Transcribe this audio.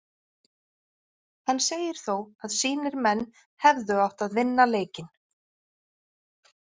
Hann segir þó að sínir menn hefðu átt að vinna leikinn.